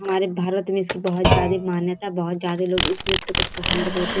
हमारे भारत में इसकी बहुत ज्यादा मान्यता बहुत ज्यादा लोग इस नृत्य को पसंद करते --